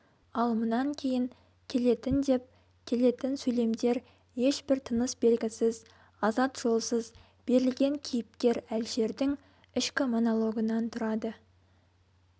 ал мұнан кейін келетін деп келетін сөйлемдер ешбір тыныс белгісіз азат жолсыз берілген кейіпкер әлішердің ішкі монологынан тұрады